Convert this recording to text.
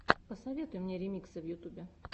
посоветуй мне ремиксы в ютубе